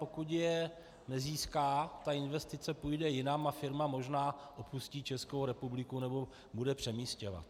Pokud je nezíská, ta investice půjde jinam a firma možná opustí Českou republiku nebo bude přemístěna.